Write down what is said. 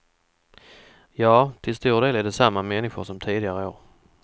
Ja, till stor del är det samma människor som tidigare år.